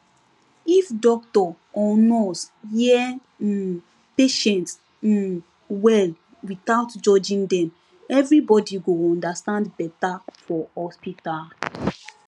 if doctor or nurse hear um patient um well without judging dem everybody go understand better for hospital